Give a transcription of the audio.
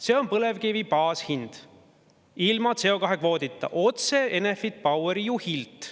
See on põlevkivi baashind, ilma CO2-kvoodita – otse Enefit Poweri juhilt.